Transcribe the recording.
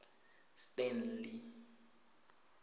stanley